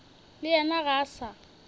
le yena ga a sa